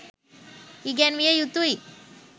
ඉගැන්විය යුතුයි.